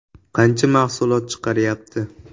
Qancha mahsulot chiqaryapti?